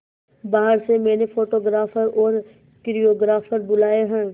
बाहर से मैंने फोटोग्राफर और कोरियोग्राफर बुलाये है